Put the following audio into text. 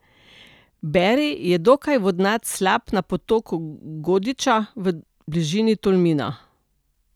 Beri je dokaj vodnat slap na potoku Godiča v bližini Tolmina.